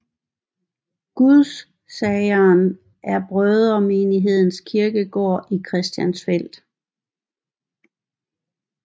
Gudsageren er Brødremenighedens kirkegård i Christiansfeld